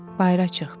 Bayıra çıxdı.